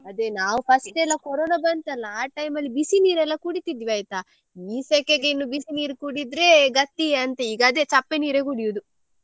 ಅದೇ ನಾವ್ first ಎಲ್ಲ ಕೊರೊನಾ ಬಂತಲ್ಲ ಆ time ಅಲ್ಲಿ ಬಿಸಿ ನೀರೆಲ್ಲ ಕುಡಿತಿದ್ವಿ ಆಯ್ತಾ ಈ ಸೆಕೆಗೆ ಇನ್ನು ಬಿಸಿನೀರು ಕುಡಿದ್ರೆ ಗತಿಯೇ ಅಂತ ಈಗ ಅದೇ ಚಪ್ಪೆ ನೀರು ಕುಡಿಯುದು.